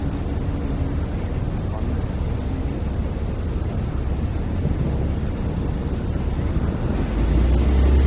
intudupaa eng'eno ino ashu iponaa eng'eno ino enaake naa ekincho sii tayiolo intokitin nimiyiolo.